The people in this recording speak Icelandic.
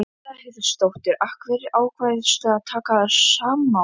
Erla Hlynsdóttir: Af hverju ákvaðstu að taka smálán?